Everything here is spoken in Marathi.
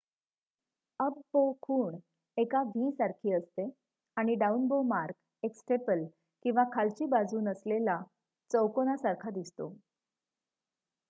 """अप बो" खूण एका वी सारखी दिसते आणि "डाऊन बो मार्क" एक स्टेपल किंवा खालची बाजू नसलेला चौकोनासारखा दिसतो.